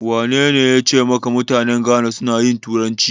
Wanene yace maka mutanen Ghana suna yin turanci?